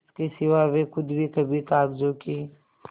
इसके सिवा वे खुद भी कभी कागजों की